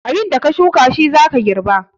Abinda ka shuka shi zaka girba.